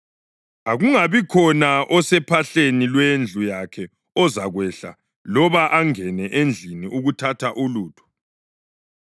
Akungabikhona osephahleni lwendlu yakhe ozakwehla loba angene endlini ukuthatha ulutho.